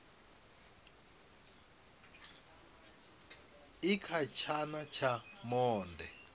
i kha tshana tsha monde